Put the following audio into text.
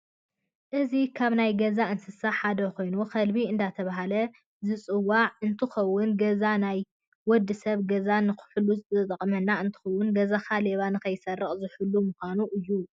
እዚ ካብ ናይ ገዛ እንስሳ ሓደ ኮይኑ ከልቢ እዳተባሃለ ዝፂዋዕ እንትከውን ገዛ ናይወድሰብ ገዛ ንክሕልዉ ዝጠቅም እንትከውን ገዛካ ሌባ ንከይሰርቀካ ዝሕሉው ሞኻኑ እዮ።